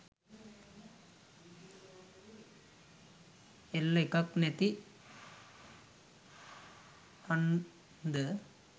L එකක් නැති හන්ද